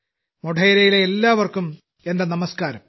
മോഢേരയിലെ എല്ലാവർക്കും എന്റെ നമസ്ക്കാരം